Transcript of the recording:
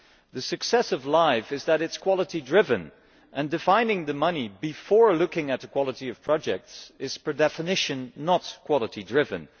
The success of LIFE is that it is quality driven and defining the money before looking at the quality of projects is per definition not quality driven.